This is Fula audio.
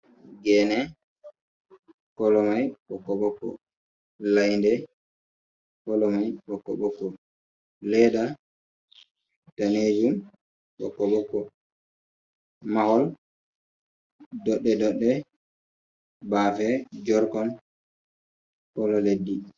Gene kolo mai bokko bokko lainde kolo mai bokko bokko ledda danejum bokko bokko mahol ɗodde ɗodde bafe jorgon kolo leddi.